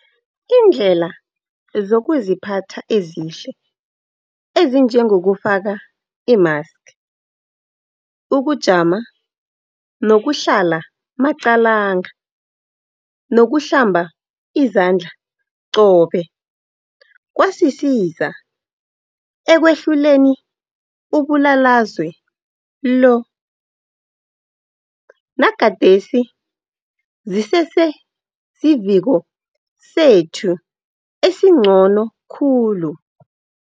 Iindlela zokuziphatha ezihle ezinjengokufaka imaski, ukujama nokuhlala maqalanga nokuhlamba izandla qobe kwasisiza ekwehluleni umbulalazwe lo. Nagadesi zisese siviko sethu esingcono khulu.